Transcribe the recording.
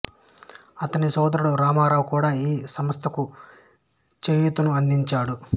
అతని సోదరుడు రామారావు కూడా ఈ సంస్థకు చేయూతను అందించాడు